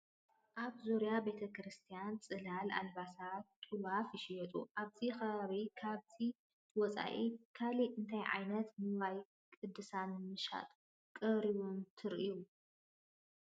ኣብ ዙርያ ቤተ ክርስቲያን ፅላል፣ ኣልባሳት፣ ጡዋፍ ይሽየጡ፡፡ ኣብዚ ከባቢ ካብዚ ወፃኢ ካልእ እንታይ ዓይነት ንዋየ ቅድሳት ንመሸጣ ቀሪቦም ትርእዩ?